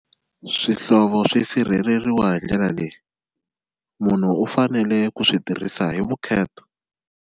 Swihlovo swi sirheleriwa hi ndlela leyi munhu u fanele ku swi tirhisa hi vukheta.